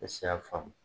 Ne se y'a faamu